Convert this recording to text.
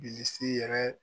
Bilisi yɛrɛ.